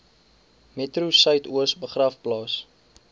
metro suidoos begraafplaas